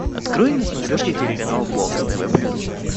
открой на смотрешке телеканал бокс тв плюс